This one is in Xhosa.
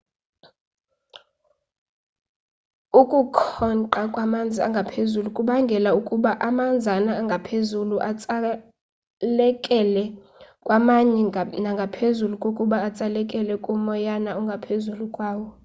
ukukhonqa kwamanzi angaphezulu kubangelwa kukuba amanzana angaphezulu atsalekela kwamanye nangaphezu kokuba atsalekele kumoyana ongaphezulu kwawo